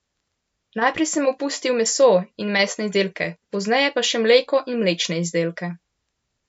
Najprej sem opustil meso in mesne izdelke, pozneje pa še mleko in mlečne izdelke.